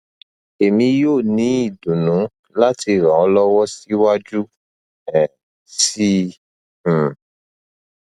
emi yoo ni idunnu lati ran ọ lọwọ siwaju um sii um